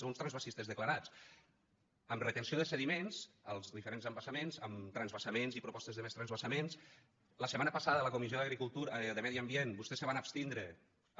sou uns transvasistes declarats amb retenció de sediments als diferents embassaments amb transvasaments i propostes de més transvasaments la setmana passada a la comissió de medi ambient vostès se van abstindre